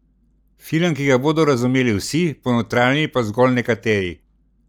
Film, ki ga bodo razumeli vsi, ponotranjili pa zgolj nekateri!